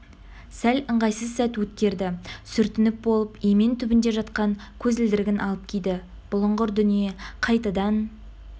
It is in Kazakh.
сәл ыңғайсыз сәт өткерді сүртініп болып емен түбінде жатқан көзілдірігін алып киді бұлыңғыр дүние қайтадан